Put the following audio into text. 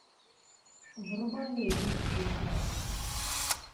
врубай русскую классику